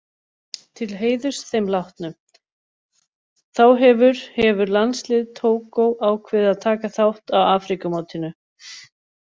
Til heiðurs þeim látnu, þá hefur hefur landslið Tógó ákveðið að taka þátt á Afríkumótinu.